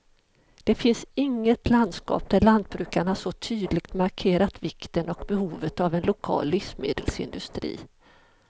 Det finns inget landskap där lantbrukarna så tydligt markerat vikten och behovet av en lokal livsmedelsindustri.